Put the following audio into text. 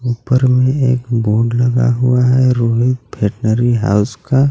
उप्पर में एक बोर्ड लगा हुआ है रोहित भेटनरी हाउस का.